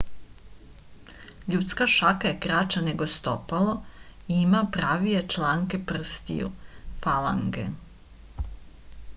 људска шака је краћа него стопало и има правије чланке прстију фаланге